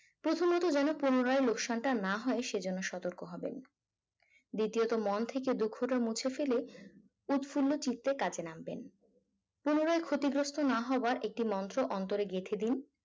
প্রথমত যেন পুনরায় লোকসানটা না হয় সেজন্য সতর্ক হবেন দ্বিতীয়ত মন থেকে দুঃখটা মুছে ফেলে উৎফুল্ল চিত্তে কাজে নামবেন পুনরায় ক্ষতিগ্রস্ত না হওয়ার একটি মন্ত্র অন্তরে গেঁথে দিন